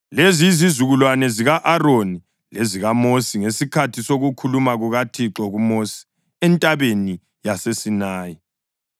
Lezi yizizukulwane zika-Aroni lezikaMosi ngesikhathi sokukhuluma kukaThixo kuMosi entabeni yaseSinayi.